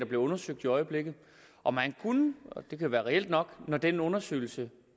bliver undersøgt i øjeblikket og man kunne og det kan være reelt nok når den undersøgelse